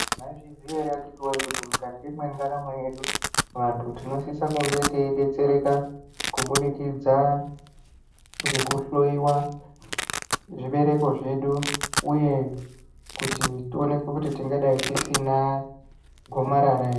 Maizviziya ere akhiti woye kuti mukati mwendaramo yedu, vantu tinosisa kunge teidetsereka kubudikidza ngekuhloyiwa zvibereko zvedu? Uye kuti tionekwe kuti tingadai tisina gomarara ere.